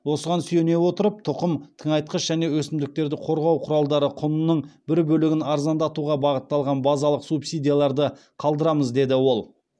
осыған сүйене отырып тұқым тыңайтқыш және өсімдіктерді қорғау құралдары құнының бір бөлігін арзандатуға бағытталған базалық субсидияларды қалдырамыз деді ол